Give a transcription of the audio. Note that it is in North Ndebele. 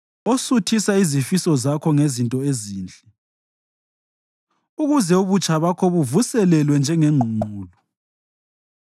osuthisa izifiso zakho ngezinto ezinhle ukuze ubutsha bakho buvuselelwe njengengqungqulu.